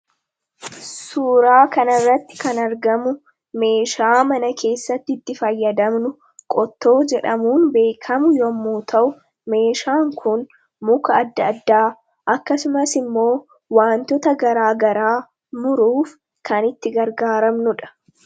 suuraa kana irratti kan argamu meeshaa mana keessatti itti fayyadamnu qottoo jedhamuun beekamu yemmuu ta'u meeshaan kun muka addaa addaa akkasumas immoo wantoota garaa garaa muruuf kan itti gargaaramnudha.